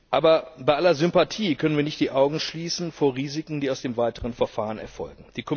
Aber bei aller Sympathie können wir nicht die Augen verschließen vor Risiken, die sich aus dem weiteren Verfahren ergeben.